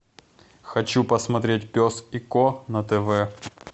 хочу посмотреть пес и ко на тв